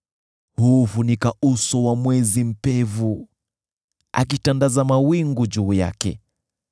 Huufunika uso wa mwezi mpevu, akitandaza mawingu juu yake.